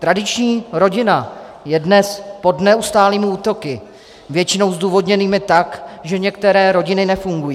Tradiční rodina je dnes pod neustálými útoky, většinou zdůvodněnými tak, že některé rodiny nefungují.